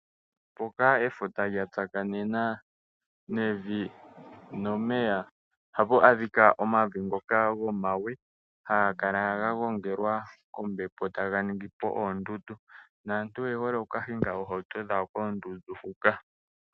Mpoka efuta lya tsakanena nevi nomeya oha pu adhika omavi ngoka gomawe haga kala ga gongelwa kombepo eta ga ningi po oondundu. Naantu oye hole oku kahinga oohauto dhawo koondundu huka.